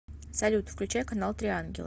салют включай канал три ангела